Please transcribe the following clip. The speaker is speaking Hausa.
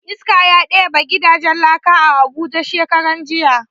Iska ya ɗebe gidajen laka a abuja shekaran jiya